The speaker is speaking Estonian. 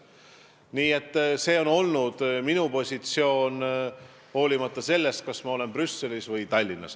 Nii et selline on olnud minu positsioon, hoolimata sellest, kas ma olen Brüsselis või Tallinnas.